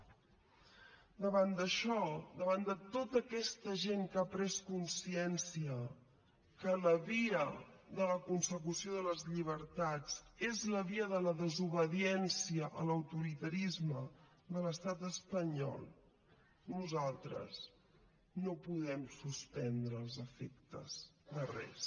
davant d’això davant de tota aquesta gent que ha pres consciència que la via de la consecució de les llibertats és la via de la desobediència a l’autoritarisme de l’estat espanyol nosaltres no podem suspendre els efectes de res